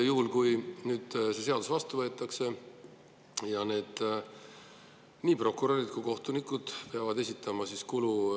Kui see seadus vastu võetakse, peavad nii prokurörid kui ka kohtunikud hakkama esitama kuluaruandeid.